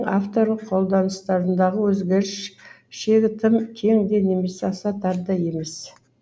авторлық қолданыстарындағы өзгеріс шегі тым кең де немесе аса тар да емес